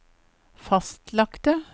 fastlagte